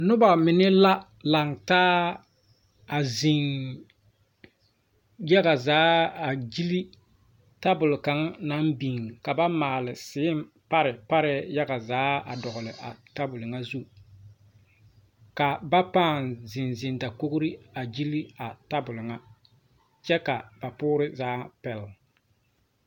Nobamine la laŋ taa a zeŋ yagazaa a gyili tabol kaŋa naŋ biŋ ka ba maale seepare pare yaga zaa a dogli a tabol ŋa zu ka ba pãã zeŋ zeŋ dakogri a gyili a tabol ŋa kyɛ ka ba poore zaa pele.